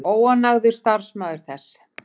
Óánægður starfsmaður þess